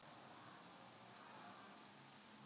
Um leið og hún sagði mömmu að hún ætlaði að flytja.